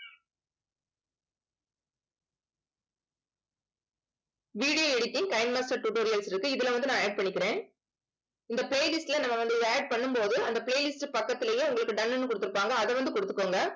video editing tutorials இருக்கு. இதுல வந்து, நான் add பண்ணிக்கிறேன் இந்த playlist ல நம்ம வந்து இதை add பண்ணும் போது அந்த playlist பக்கத்திலேயே உங்களுக்கு done ன்னு கொடுத்திருப்பாங்க அதை வந்து கொடுத்துக்கோங்க